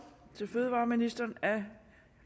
til fødevareministeren herre